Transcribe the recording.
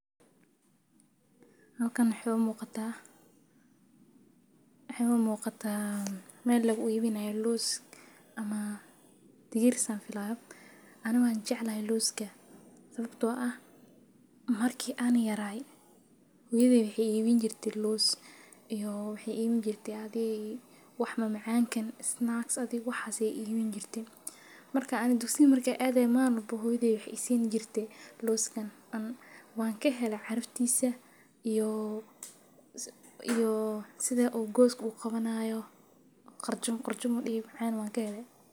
Halkan muxu muqata ah muqataa meel lagu iibinayo loos ama tigiri saan filaya. Anigu waa jaclehaya looska sababtoo ah markii aan yaray. hooyeydi waxay iibiin jirtay loos iyo waxay iibin jirtay adii wax macaankan snacks aday waxay iibiin jirtay. Markaan aniga dugsiga markay aadeys maaiin walbo hooyeydi waxay isin jirtay looskan. Ana waan ka heley carifthisa iyo, iyo sida agoo goos u qabanayo. Qarjum qarjumuhu dhici doon waan ka heley.